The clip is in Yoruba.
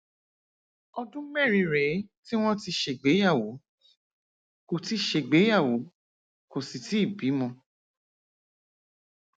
ọdún mẹrin rèé tí wọn ti ṣègbéyàwó kò ti ṣègbéyàwó kò sì tíì bímọ